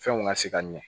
Fɛnw ka se ka ɲɛ